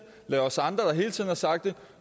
lad os andre der hele tiden har sagt det